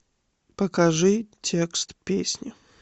покажи текст песни